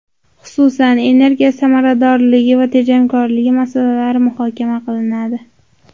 Xususan, energiya samaradorligi va tejamkorligi masalalari muhokama qilinadi.